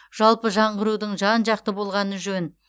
жалпы жаңғырудың жан жақты болғаны жөн